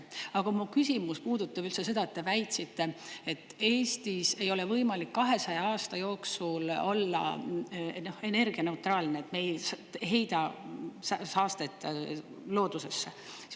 Aga mu küsimus puudutab üldse seda, et te väitsite, et Eestis ei ole võimalik 200 aasta jooksul olla energianeutraalne, et me ei heida saastet loodusesse.